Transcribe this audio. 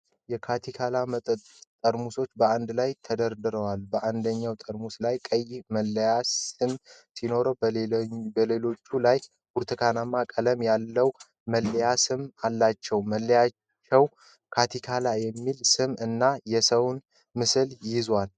የካቲካላ መጠጥ ጠርሙሶች በአንድ ላይ ተደርድረዋል። በአንደኛው ጠርሙስ ላይ ቀይ መለያ ስም ሲኖር፣ በሌሎቹ ላይ ብርቱካናማ ቀለም ያለው መለያ ስም አላቸው። መለያዎቹ "ካቲካላ" የሚል ስም እና የሰውን ምስል ይዘዋል።